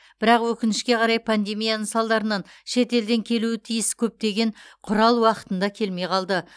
бірақ өкінішке қарай пандемияның салдарынан шетелден келуі тиіс көптеген құрал уақытында келмей қалды